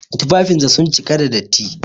Tufafinsa sun cika da datti.